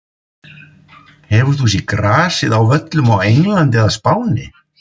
Hefur þú séð grasið á völlum á Englandi eða Spáni?